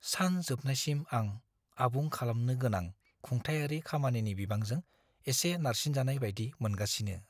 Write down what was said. सान जोबनायसिम आं आबुं खालामनो गोनां खुंथायारि खामानिनि बिबांजों एसे नारसिनजानाय बायदि मोनगासिनो।